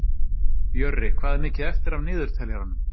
Jörri, hvað er mikið eftir af niðurteljaranum?